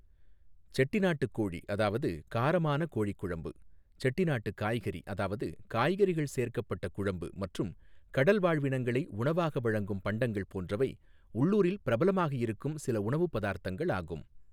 செட்டிநாட்டு கோழி அதாவது காரமான கோழி குழம்பு, செட்டிநாட்டு காய்கறி அதாவது காய்கறிகள் சேர்க்கப்பட்ட குழம்பு மற்றும் கடல் வாழ்வினங்களை உணவாக வழங்கும் பண்டங்கள் போன்றவை உள்ளூரில் பிரபலமாக இருக்கும் சில உணவுப் பதார்த்தங்கள் ஆகும்.